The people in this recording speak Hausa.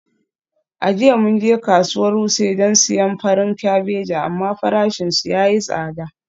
A jiya mun je kasuwar wuse don siyan farin kabeji amma farashinsu ya yi tsada.